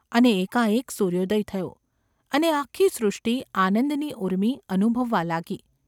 અને એકાએક સૂર્યોદય થયો. અને આખી સૃષ્ટિ આનંદની ઊર્મિ અનુભવવા લાગી.